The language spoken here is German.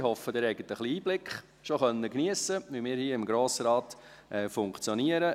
Ich hoffe, Sie haben schon einen kleinen Einblick geniessen können, wie wir hier im Grossen Rat funktionieren.